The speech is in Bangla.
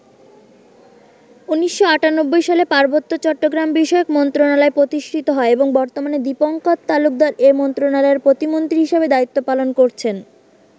১৯৯৮ সালে পার্বত্য চট্টগ্রামবিষয়ক মন্ত্রণালয় প্রতিষ্ঠিত হয় এবং বর্তমানে দীপঙ্কর তালুকদার এ মন্ত্রণালয়ের প্রতিমন্ত্রী হিসেবে দায়িত্ব পালন করছেন।